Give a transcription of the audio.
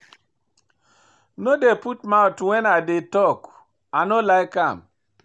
No dey put mouth wen I dey tok, I no like am.